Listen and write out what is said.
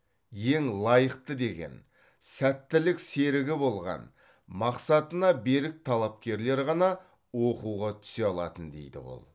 ең лайықты деген сәттілік серігі болған мақсатына берік талапкерлер ғана оқуға түсе алатын дейді ол